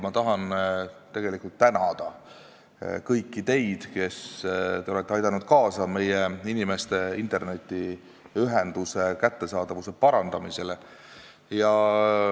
Ma tahan tegelikult tänada kõiki teid, kes te olete aidanud kaasa meie inimeste internetiühenduse kättesaadavuse parandamisele.